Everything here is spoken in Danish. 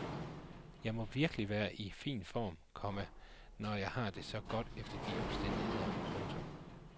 Jeg må virkelig være i fin form, komma når jeg har det så godt efter alle de besværligheder. punktum